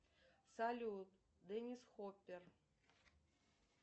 салют деннис хоппер